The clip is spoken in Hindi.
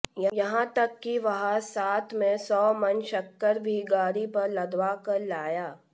यहां तक कि वह साथ में सौ मन शक्कर भी गाड़ी पर लदवाकर लाया